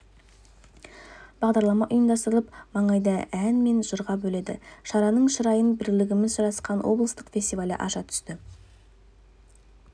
бағдарлама ұйымдастырылып маңайды ән мен жырға бөледі шараның шырайын бірлігіміз жарасқан облыстық фестивалі аша түсті